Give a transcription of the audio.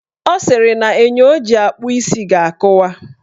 Ọ sịrị na enyo o ji akpụ isi ga-akụwa.